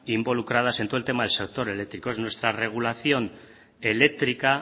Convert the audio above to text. involucradas en todo el tema del sector eléctrico nuestra regulación eléctrica